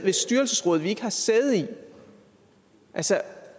styrelsesråd vi ikke har sæde i altså